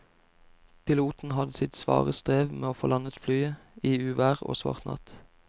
Piloten hadde sitt svare strev med å få landet flyet i uvær og svart natt.